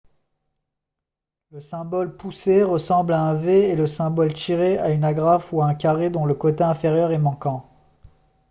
le symbole « pousser » ressemble à un v et le symbole « tirer » à une agrafe ou à un carré dont le côté inférieur est manquant